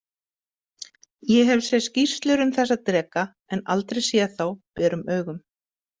Ég hef séð skýrslur um þessa dreka en aldrei séð þá berum augum